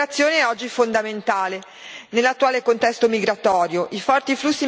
Tale cooperazione oggi è fondamentale nell'attuale contesto migratorio.